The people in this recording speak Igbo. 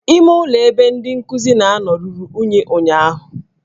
Ime ụlọ ebe ndị nkuzi na-anọ ruru unyi ụnyụahụ